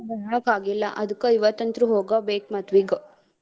ಬರಾಕ್ ಆಗಿಲ್ಲ ಅದ್ಕ ಇವತ್ತ ಅಂತ್ರು ಹೋಗಬೇಕ್ ಮದ್ವಿಗ.